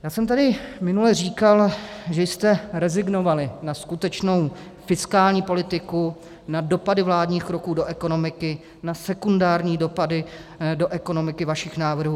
Já jsem tady minule říkal, že jste rezignovali na skutečnou fiskální politiku, na dopady vládních kroků do ekonomiky, na sekundární dopady do ekonomiky vašich návrhů.